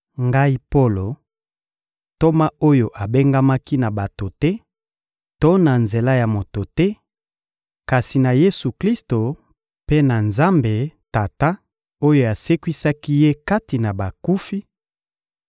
Ngai Polo, ntoma oyo abengamaki na bato te to na nzela ya moto te, kasi na Yesu-Klisto mpe na Nzambe Tata oyo asekwisaki Ye kati na bakufi,